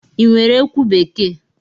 Ị nwere ekwu bekee?